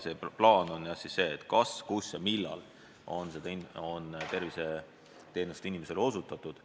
Plaan on jah teada anda, kus ja millal on inimesele terviseteenust osutatud.